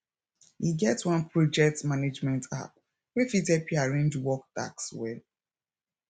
e get one project management app wey fit help you arrange work tasks well